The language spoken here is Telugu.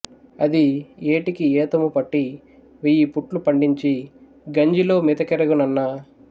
అది ఏటికి ఏతము పట్టి వెయ్యి పుట్లు పండించి గంజిలో మెతుకెరుగనన్నా